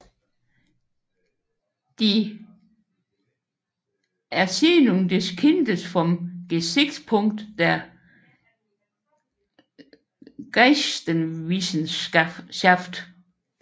Die Erziehung des Kindes vom Gesichtspunkt der Geisteswissenschaft